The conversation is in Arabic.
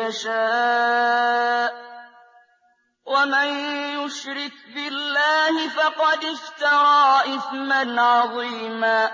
يَشَاءُ ۚ وَمَن يُشْرِكْ بِاللَّهِ فَقَدِ افْتَرَىٰ إِثْمًا عَظِيمًا